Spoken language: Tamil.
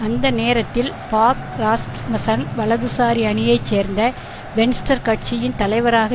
அந்த நேரத்தில் பாக் ராஸ்மசன் வலதுசாரி அணியை சேர்ந்த வென்ஸ்டர் கட்சியின் தலைவராக